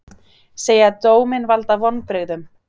Segja dóminn valda vonbrigðum